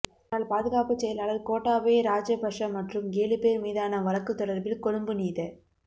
முன்னாள் பாதுகாப்புச் செயலாளர் கோட்டாபய ராஜபக்ஷ மற்றும் ஏழு பேர் மீதான வழக்கு தொடர்பில் கொழும்பு நீத